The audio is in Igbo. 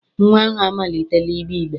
Nnwa ahụ amalitela igbe igbe.